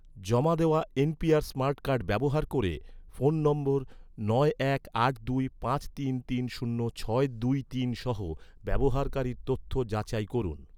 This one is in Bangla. জমা দেওয়া এনপিআর স্মার্ট কার্ড ব্যবহার ক’রে, ফোন নম্বর নয় এক আট দুই পাঁচ তিন তিন শূন্য ছয় দুই তিন সহ, ব্যবহারকারীর তথ্য যাচাই করুন